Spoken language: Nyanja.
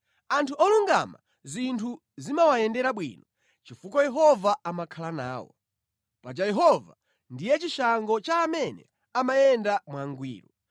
Anthu olungama zinthu zimawayendera bwino chifukwa Yehova amakhala nawo. Paja Yehova ndiye chishango cha amene amayenda mwangwiro,